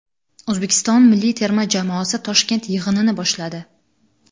O‘zbekiston milliy terma jamoasi Toshkent yig‘inini boshladi .